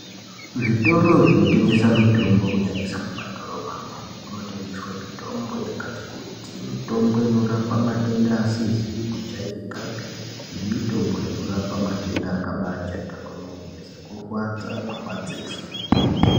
Zvitoro zvino tengesa mitombo kunyanyisa mu madhorobha mwo umu muno tengeswe mitombo yakati kuti mitombo inorapa matenda asizi ku jairikapi ne mitombo inorapa matenda akabai jairika kwemene seku rwadza kwe madziso.